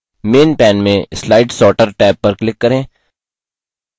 main main में slide sorter tab पर click करें